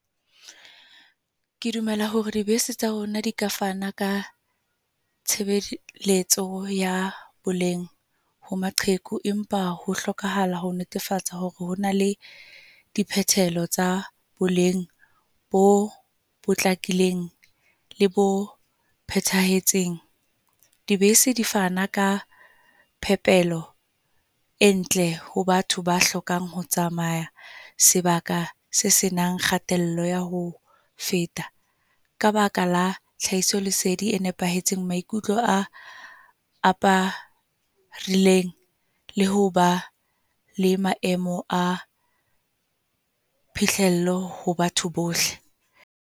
Ke dumela hore dibese tsa rona di ka fana ka tshebeletso ya boleng ho maqheku. Empa ho hlokahala ho netefatsa hore hona le dipehelo tsa boleng bo potlakileng, le bo phethahetseng. Dibese di fana ka phepelo e ntle ho batho ba hlokang ho tsamaya sebaka se senang kgatello ya ho feta. Ka baka la tlhahisolesedi e nepahetseng, maikutlo a aparileng le ho ba le maemo a phihlello ho batho bohle.